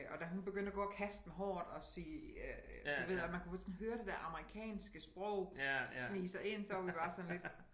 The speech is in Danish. Og da hun begyndte at gå at kaste med håret og sige øh du ved og man kunne sådan høre det dér amerikanske sprog snige sig ind så var vi bare sådan lidt